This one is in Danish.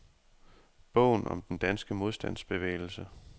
Bogen om den danske modstandsbevægelse.